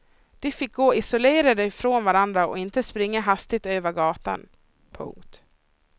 De fick gå isolerade från varandra och inte springa hastigt över gatan. punkt